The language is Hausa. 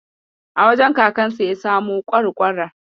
A wajen kakansa ya samo ƙwarƙwarar.